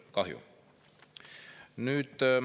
Kahju.